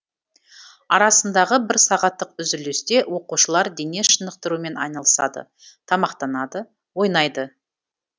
арасындағы бір сағаттық үзілісте оқушылар дене шынықтырумен айналысады тамақтанады ойнайды